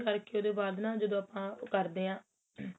ਕਰਕੇ ਉਹਦੇ ਬਾਅਦ ਨਾ ਜਦੋ ਆਪਾਂ ਉਹ ਕਰਦੇ ਆ